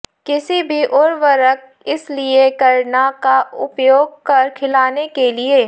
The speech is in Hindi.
किसी भी उर्वरक इस लिए करना का उपयोग कर खिलाने के लिए